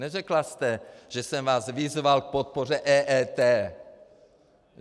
Neřekla jste, že jsem vás vyzval k podpoře EET.